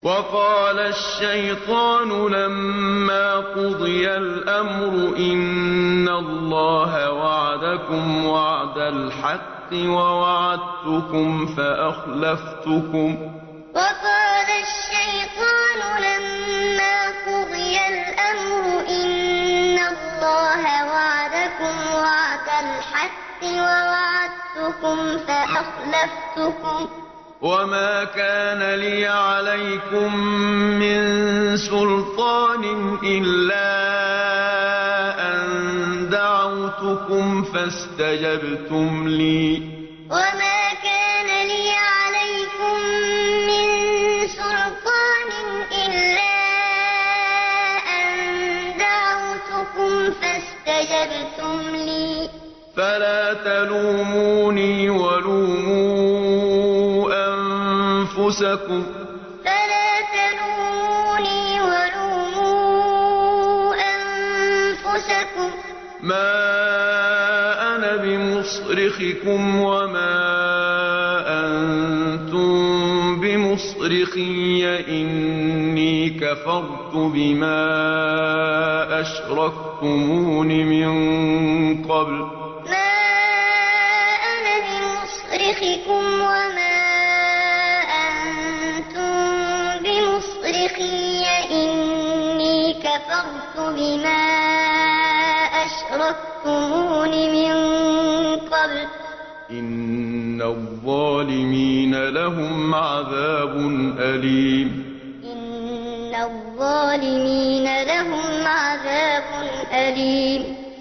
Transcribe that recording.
وَقَالَ الشَّيْطَانُ لَمَّا قُضِيَ الْأَمْرُ إِنَّ اللَّهَ وَعَدَكُمْ وَعْدَ الْحَقِّ وَوَعَدتُّكُمْ فَأَخْلَفْتُكُمْ ۖ وَمَا كَانَ لِيَ عَلَيْكُم مِّن سُلْطَانٍ إِلَّا أَن دَعَوْتُكُمْ فَاسْتَجَبْتُمْ لِي ۖ فَلَا تَلُومُونِي وَلُومُوا أَنفُسَكُم ۖ مَّا أَنَا بِمُصْرِخِكُمْ وَمَا أَنتُم بِمُصْرِخِيَّ ۖ إِنِّي كَفَرْتُ بِمَا أَشْرَكْتُمُونِ مِن قَبْلُ ۗ إِنَّ الظَّالِمِينَ لَهُمْ عَذَابٌ أَلِيمٌ وَقَالَ الشَّيْطَانُ لَمَّا قُضِيَ الْأَمْرُ إِنَّ اللَّهَ وَعَدَكُمْ وَعْدَ الْحَقِّ وَوَعَدتُّكُمْ فَأَخْلَفْتُكُمْ ۖ وَمَا كَانَ لِيَ عَلَيْكُم مِّن سُلْطَانٍ إِلَّا أَن دَعَوْتُكُمْ فَاسْتَجَبْتُمْ لِي ۖ فَلَا تَلُومُونِي وَلُومُوا أَنفُسَكُم ۖ مَّا أَنَا بِمُصْرِخِكُمْ وَمَا أَنتُم بِمُصْرِخِيَّ ۖ إِنِّي كَفَرْتُ بِمَا أَشْرَكْتُمُونِ مِن قَبْلُ ۗ إِنَّ الظَّالِمِينَ لَهُمْ عَذَابٌ أَلِيمٌ